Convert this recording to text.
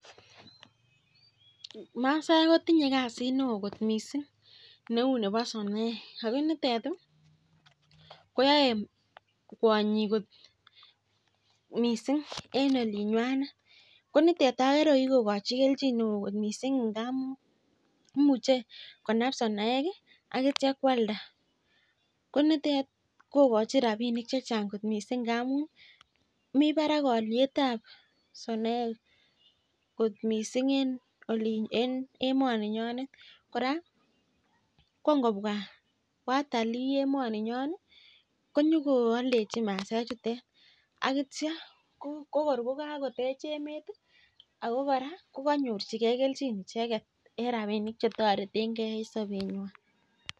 Masaek kotinye kasit neon kot mising Neu Nebo sonoek ako nitet koyae kwanyik mising en ulinywanet konitet agere kokikokachi kelchin neon kot mising ngamun imuche konab sonoek akitya kwalda konitet kokachin rabinik chechang kot mising ngamun mi Barak aliet ab sonoek kot mising en olimbo en emoniyonet raa kongobwa watalii emoninyon konyon kwaldechi masaek chuchok akitya kokor kokakotech emet akokoraa kokanyor chigei kelchin icheket en rabinik chetareten gei en sabenywan